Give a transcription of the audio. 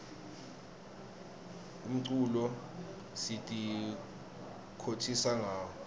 umculo sititfokotisa ngawo